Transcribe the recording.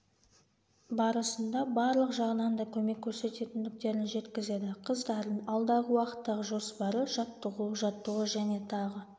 барысында барлық жағынан да көмек көрсететіндіктерін жеткізеді қыздардың алдағы уақыттағы жоспары жаттығу жаттығу және тағы